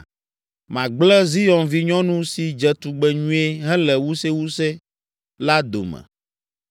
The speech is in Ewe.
Magblẽ Zion vinyɔnu si dze tugbe nyuie hele wusewuse la dome.